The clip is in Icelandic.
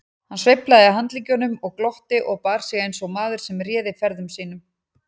Hann sveiflaði handleggjunum og glotti og bar sig eins og maður sem réði ferðum sínum.